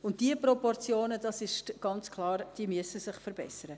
Und diese Proportionen müssen sich ganz klar verbessern.